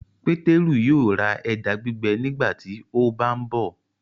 Peteru yóò rà ẹja gbígbẹ nígbàtí o bá nbó.